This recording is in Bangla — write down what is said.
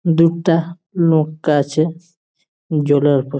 দুটা নৌকা আছে জলের উপর ।